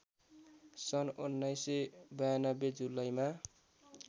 सन् १९९२ जुलाईमा